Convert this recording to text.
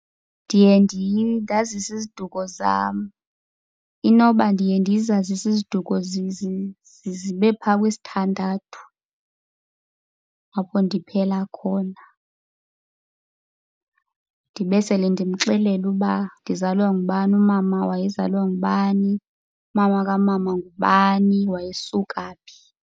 Ndiye ndazise isiduko sam. Inoba ndiye ndizazise iziduko zibe pha kwisithandathu apho ndiphela khona. Ndibe sele ndimxelela uba ndizalwa ngubani, umama wayezalwa ngubani, umama kamama ngubani, wayesuka phi.